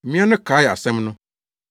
Mmea no kaee asɛm no.